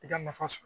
I ka nafa sɔrɔ